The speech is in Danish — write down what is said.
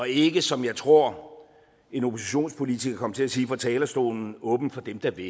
ikke som jeg tror en oppositionspolitiker kom til at sige fra talerstolen åbent for dem der vil